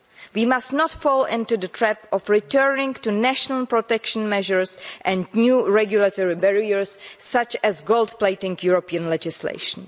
We must not fall into the trap of returning to national protection measures and new regulatory barriers, such as gold plating European legislation.